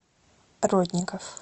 родников